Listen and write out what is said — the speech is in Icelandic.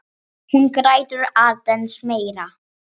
Hún grætur aðeins meira.